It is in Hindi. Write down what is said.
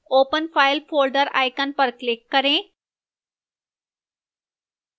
open file named folder icon पर click करें